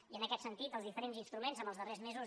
i en aquest sentit els diferents instru·ments en els darrers mesos